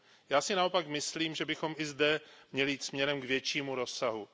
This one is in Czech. Já si naopak myslím, že bychom i zde měli jít směrem k většímu rozsahu.